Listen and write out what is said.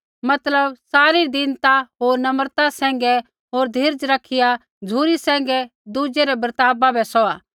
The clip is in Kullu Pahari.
मतलब सारी दीनता होर नम्रता सैंघै होर धीरज रखिया झ़ुरी सैंघै दुज़ै रै बर्तावा बै सौहा